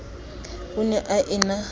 o ne a e na